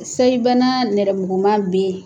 Seyi bana nɛrɛmuguman bɛ yen